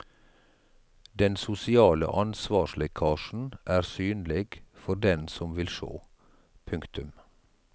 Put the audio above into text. Den sosiale ansvarslekkasjen er synleg for den som vil sjå. punktum